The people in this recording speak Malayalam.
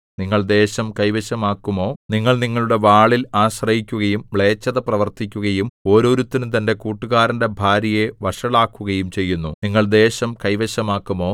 നിങ്ങൾ ദേശം കൈവശമാക്കുമോ നിങ്ങൾ നിങ്ങളുടെ വാളിൽ ആശ്രയിക്കുകയും മ്ലേച്ഛത പ്രവർത്തിക്കുകയും ഓരോരുത്തനും തന്റെ കൂട്ടുകാരന്റെ ഭാര്യയെ വഷളാക്കുകയും ചെയ്യുന്നു നിങ്ങൾ ദേശം കൈവശമാക്കുമോ